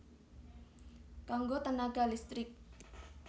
Kanggo tènaga listrik